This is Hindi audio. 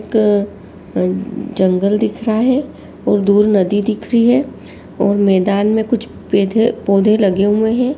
एक अ जंगल दिख रहा है और दूर नदी दिख रही है और मैदान में कुछ पधे पौधे लगे हुए हैं |